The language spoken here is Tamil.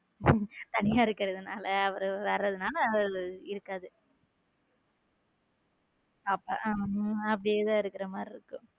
தனியா இருக்கிறதுனால அவர் வேறு எதுனால இருக்காத அப்படியே தான் இருக்கிற மாதிரி இருக்கு.